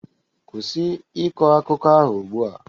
Kwụsị ịkọ akụkọ ahụ ugbu a.